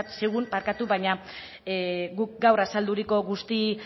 zigun baina guk gaur azaldutako guzti